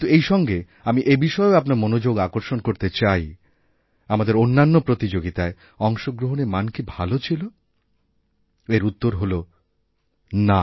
কিন্তু এইসঙ্গে আমি এবিষয়েও আপনার মনোযোগ আকর্ষণ করতে চাই আমাদেরঅন্যান্য প্রতিযোগিতায় অংশগ্রহণের মান কি ভাল ছিল এর উত্তর হল না